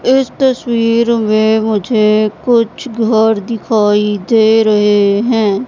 इस तस्वीर में मुझे कुछ घर दिखाई दे रहे हैं।